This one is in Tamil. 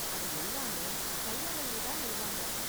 அது எல்லாமே கையாலயே தான் நெய்வாங்க.